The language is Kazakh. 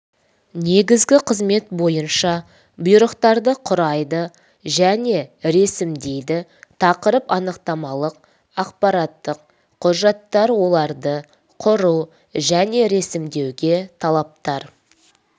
негізгі қызмет бойынша бұйрықтарды құрайды және ресімдейді тақырып анықтамалық ақпараттық құжаттар оларды құру және ресімдеуге талаптар